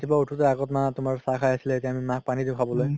ৰাতিপুৱা উথোতে মা আগত তুমাৰ চাহ খাই আছিলে এতিয়া আমি মাক পানি দিও খাবলে